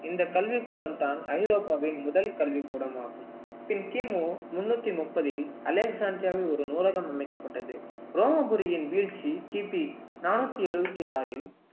இந்தக் கல்விக் கூடம்தான் ஐரோப்பாவின் முதல் கல்விக்கூடமாகும் பின் கிமு முன்னூத்தி முப்பதில் அலெக்சாண்ரியாவில் ஒரு நூலகம் அமைக்கப்பட்டது ரோமபுரியின் வீழ்ச்சி கிபி நானூத்தி எழுபத்தி ஆறில்